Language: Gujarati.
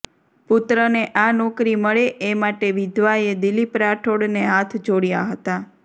પુત્રને આ નોકરી મળે એ માટે વિધવાએ દિલીપ રાઠોડને હાથ જોડયા હતાં